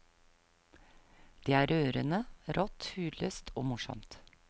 Det er rørende, rått, hudløst og morsomt.